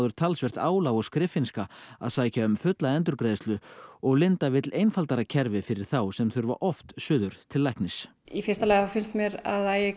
talsvert álag og skriffinnska að sækja um fulla endurgreiðslu og Linda vill einfaldara kerfi fyrir þá sem þurfa oft suður til læknis í fyrsta lagi þá finnst mér að